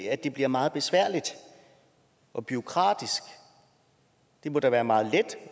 at det bliver meget besværligt og bureaukratisk det må da være meget let